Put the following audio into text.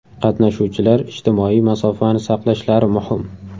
Qatnashuvchilar ijtimoiy masofani saqlashlari muhim.